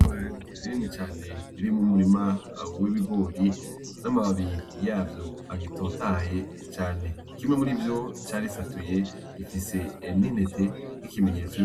Itongo rinini cane ririmwo umurima w'ibigori n'amababi yavyo agitotahaye cane kimwe murivyo carisatuye gifise n'intete nk'ikimenyetso